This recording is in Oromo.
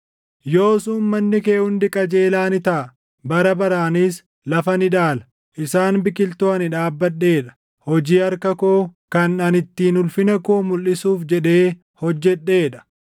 Yoos uummanni kee hundi qajeelaa ni taʼa; bara baraanis lafa ni dhaala. Isaan biqiltuu ani dhaabbadhee dha; hojii harka koo, kan ani ittiin ulfina koo mulʼisuuf // jedhee hojjedhee dha.